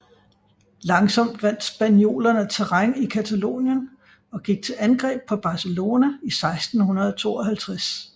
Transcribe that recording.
Langsomt vandt spaniolerne terræn i Catalonien og gik til angreb på Barcelona i 1652